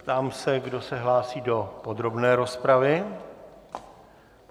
Ptám se, kdo se hlásí do podrobné rozpravy.